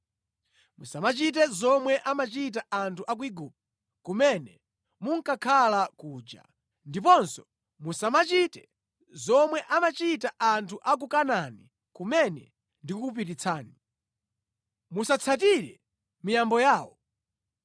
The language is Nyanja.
Musamachite zomwe amachita anthu a ku Igupto kumene munkakhala kuja, ndiponso musamachite zomwe amachita anthu a ku Kanaani kumene ndikukupititsani. Musatsatire miyambo yawo.